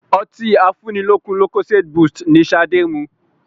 Ọtí afúnilókun lucozade boost ni ṣade mu